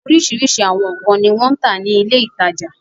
Oríṣiríṣi àwọn nǹkan ni wọ́n ń tà ní ilé-ìtajà.